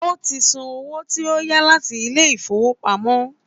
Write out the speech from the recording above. Ó ti san owó tí ó yá láti ilé ìfowópamọ́